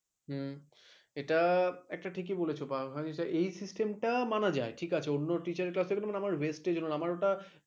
হম এটা ঠিকই বলেছ বা এই system মানা যায় ঠিক আছে অন্য teacher কাজ টা ভেস্তাগে হল না ।